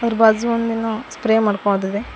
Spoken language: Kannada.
ಇದ್ರು ಬಾಜು ಒಂದೇನೋ ಸ್ಪ್ರೇ ಮಾಡ್ಕೊಳದಿದೆ.